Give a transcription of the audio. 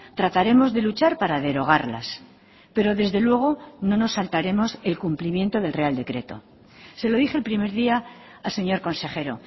trataremos de luchar para derogarlas pero desde luego no nos saltaremos el cumplimiento del real decreto se lo dije el primer día al señor consejero